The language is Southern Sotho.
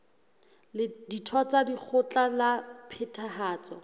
ditho tsa lekgotla la phethahatso